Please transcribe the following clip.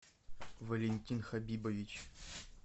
валентин хабибович